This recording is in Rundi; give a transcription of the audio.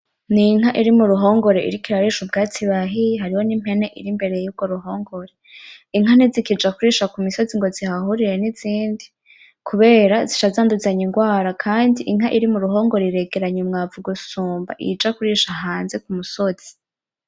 N inka iri muruhongore iriko irarisha ubwatsi bahiye, hariho nimpene iri imbere yurwo ruhongore. Inka ntizikuja kurisha kumisozi ngo zihahurire nizindi kubera zica zanduzanya inrwara, kandi inka iri muruhongore iregeranya umwavu gusumba iyija kurisha hanze k'umusozi.